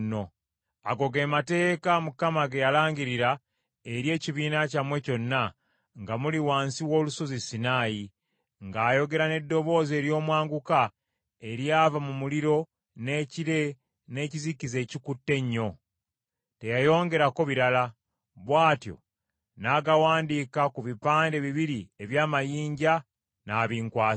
Ago ge mateeka Mukama ge yalangirira eri ekibiina kyammwe kyonna, nga muli wansi w’olusozi Sinaayi, ng’ayogera n’eddoboozi ery’omwanguka eryava mu muliro, n’ekire, n’ekizikiza ekikutte ennyo; teyayongerako birala. Bw’atyo n’agawandiika ku bipande bibiri eby’amayinja, n’abinkwasa.